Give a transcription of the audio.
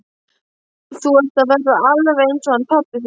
Þú ert að verða alveg eins og hann pabbi þinn.